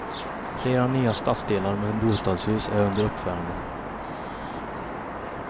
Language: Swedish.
Flera nya stadsdelar med bostadshus är under uppförande.